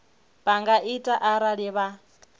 vha nga ita arali vha